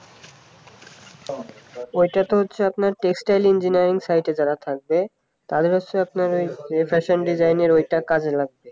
ওটা তো হচ্ছে আপনার textile engineering site যারা থাকবে তাদের হচ্ছে আপনার ঐ fashion design এর ওটা কাজে লাগবে